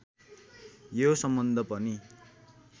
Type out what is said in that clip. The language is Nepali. यो सम्बन्ध पनि